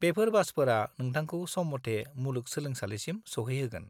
बेफोर बासफोरा नोंथांखौ सम मथे मुलुग सोलोंसालिसिम सौहैहोगोन।